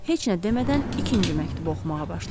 Heç nə demədən ikinci məktubu oxumağa başladı.